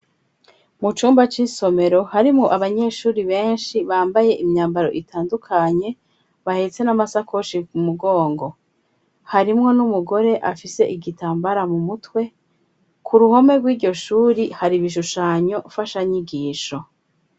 Mu cumba c'isomero harimwo abanyeshuri beshi bambaye imyambaro itandukanye bahetse n'amasakoshi ku mugongo harimwo n'umugore afise igitambara mu mutwe ku ruhome rwiryo shuri hari ibishushanyo fasha nyigisho.